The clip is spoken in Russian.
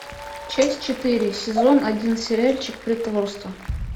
часть четыре сезон один сериальчик притворство